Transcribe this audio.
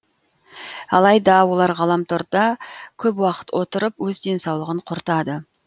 алайда олар ғаламторда көп уақыт отырып өз денсаулығын құртады